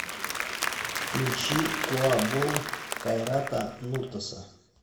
включи куа бол кайрата нуртаса